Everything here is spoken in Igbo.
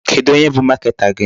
Kedụ onye bụ marketer gị?